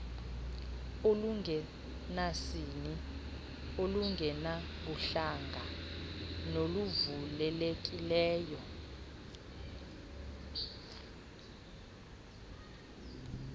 olungenasini olungenabuhlanga noluvulelekileyo